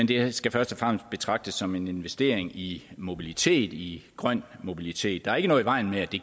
det skal først og fremmest betragtes som en investering i mobilitet i grøn mobilitet der er ikke noget i vejen med at det